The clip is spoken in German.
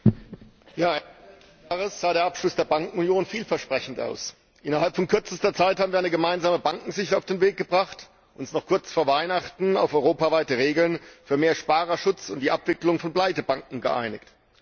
Herr Präsident! Ende letzten Jahres sah der Abschluss der Bankenunion vielversprechend aus Innerhalb kürzester Zeit haben wir eine gemeinsame Bankenaufsicht auf den Weg gebracht und uns noch kurz vor Weihnachten auf europaweite Regeln für mehr Sparerschutz und die Abwicklung von Pleitebanken geeinigt.